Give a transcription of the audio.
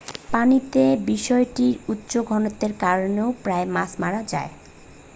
পানিতে বিষটির উচ্চ ঘনত্বের কারনে প্রায়ই মাছ মারা যায়